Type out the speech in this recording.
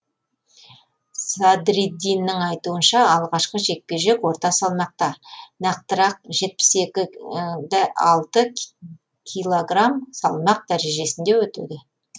садриддиннің айтуынша алғашқы жекпе жек орта салмақта нақтырақ жетпі екі де алты килограмм салмақ дәрежесінде өтеді